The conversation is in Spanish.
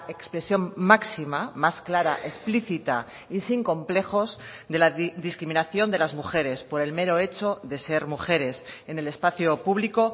expresión máxima más clara explicita y sin complejos de la discriminación de las mujeres por el mero hecho de ser mujeres en el espacio público